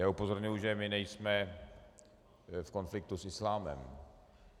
Já upozorňuji, že my nejsme v konfliktu s islámem.